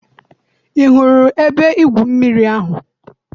I hụrụ ebe-igwụ mmiri ahụ?